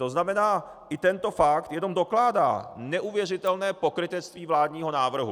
To znamená, i tento fakt jenom dokládá neuvěřitelné pokrytectví vládního návrhu.